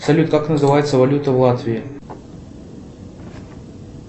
салют как называется валюта в латвии